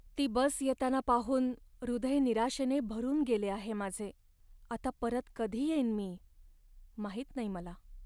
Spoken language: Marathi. ती बस येताना पाहून हृदय निराशेने भरून गेले आहे माझे. आता परत कधी येईन मी माहित नाही मला.